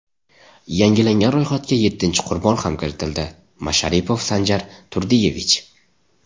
Yangilangan ro‘yxatga yettinchi qurbon ham kiritildi: Masharipov Sanjar Turdiyevich.